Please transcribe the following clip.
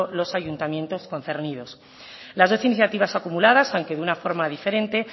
los ayuntamientos concernidos las dos iniciativas acumuladas aunque de una forma diferente